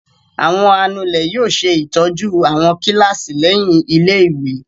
Àwọn anulẹ̀ yóò ṣe ìtọ́jú àwọn kíláàsì lẹ́yìn ilé-ìwé.